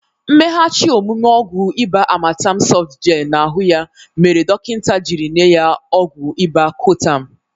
Mmeghachi omụme ọgwụ ịba Amatem sọft gel na ahụ ya mere dọkịnta jiri nye ya ọgwụ ịba koatem.